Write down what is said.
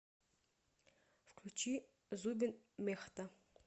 включи зубин мехта